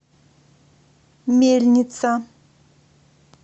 мельница